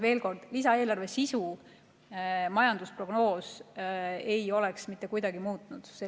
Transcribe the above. Veel kord: lisaeelarve sisu ei oleks majandusprognoos mitte kuidagi muutnud.